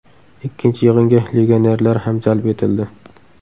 Ikkinchi yig‘inga legionerlar ham jalb etildi.